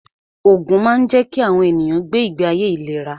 Ògùn máa ń jẹ́ kí àwọn ènìyàn gbé ìgbé ayé ìléra